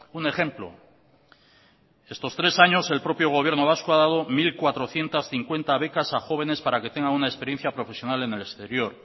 un ejemplo en estos tres años el propio gobierno vasco ha dado mil cuatrocientos cincuenta becas a jóvenes para que tengan una experiencia profesional en el exterior